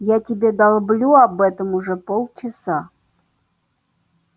я тебе долблю об этом уже полчаса